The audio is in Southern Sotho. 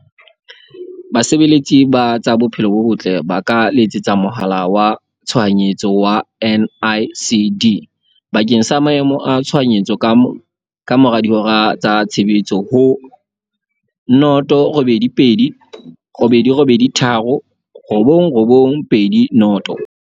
Basebeletsi ba tsa Bophelo bo Botle ba ka letsetsa mohala wa Tshohanyetso wa NICD bakeng sa Maemo a Tshohanyetso kamora dihora tsa tshebetso ho- 082 883 9920.